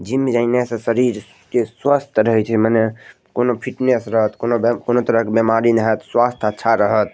Gym जाइने से शरीर के सवस्थ रहे छे मने कोनो फिटनेस रहत कोनो बे कोनो तरह क बेमारी न हत स्वास्थ अच्छा रहत।